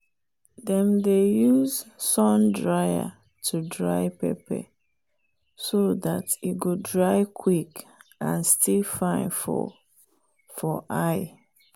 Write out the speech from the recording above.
dem dey use sun dryer to dry pepper so dat e go dry quick and still fine for for eye.